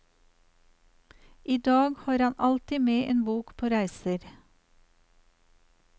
I dag har han alltid med en bok på reiser.